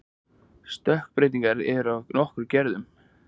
stökkbreytingar eru af nokkrum gerðum